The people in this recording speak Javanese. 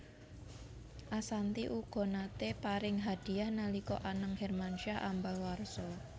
Ashanty uga naté paring hadiyah nalika Anang Hermansyah ambal warsa